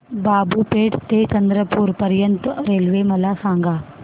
बाबूपेठ ते चंद्रपूर पर्यंत रेल्वे मला सांगा